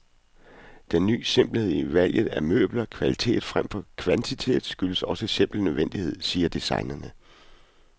Den ny simpelhed i valget af møbler, kvalitet fremfor kvantitet, skyldes også simpel nødvendighed, siger designerne.